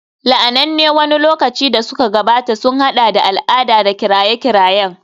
La'ananne wani lokaci da suka gabata sun haɗa da al'ada da kiraye-kirayen